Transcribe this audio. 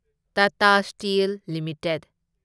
Tata steel limited